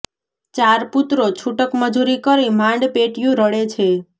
ચાર પુત્રો છૂટક મજૂરી કરી માંડ પેટીયું રળે છે